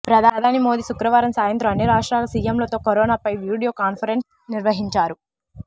ప్రధాని మోదీ శుక్రవారం సాయంత్రం అన్ని రాష్ట్రాల సీఎంలతో కరోనాపై వీడియో కాన్ఫరెన్స్ నిర్వహించారు